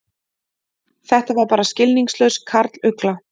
Þetta var bara skilningslaus karlugla.